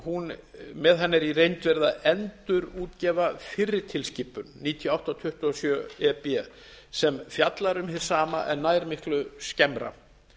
með þessari tilskipun er í reynd verið að endurútgefa fyrri tilskipun níutíu og átta tuttugu og sjö e b sem fjallar um hið sama en nær miklu skemmra